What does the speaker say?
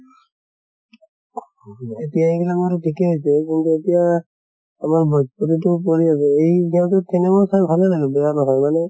এতিয়া এইবিলাক বাৰু ঠিকে হৈছে কিন্তু এতিয়া আমাৰ ভজ্পুৰিতো পৰি আছে এই ইহঁতৰ cinema চাই ভালে লাগে, বেয়া নহয় মানে